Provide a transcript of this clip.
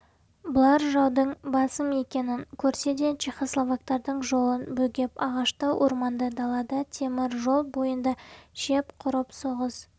бұлар жаудың басым екенін көрсе де чехословактардың жолын бөгеп ағашты орманды далада темір жол бойында шеп құрып соғыс